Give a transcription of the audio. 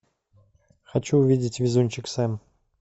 хочу увидеть везунчик сэм